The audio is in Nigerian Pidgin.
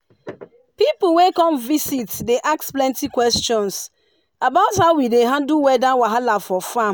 pipu wey come visit dey ask plenty questions about how we dey handle weather wahala for farm.